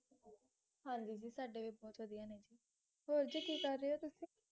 ਹਾਂਜੀ ਜੀ ਸਾਡੇ ਵੀ ਬਹੁਤ ਵਧੀਆ ਨੇ ਹੋਰ ਜੀ ਕੀ ਕਰ ਰੇ ਓ ਤੁਸੀਂ?